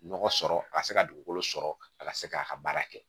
Nɔgɔ sɔrɔ a ka se ka dugukolo sɔrɔ a ka se k'a ka baara kɛ